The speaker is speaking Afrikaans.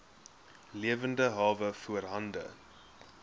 lewende hawe voorhande